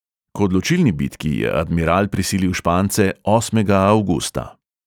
K odločilni bitki je admiral prisilil špance osmega avgusta.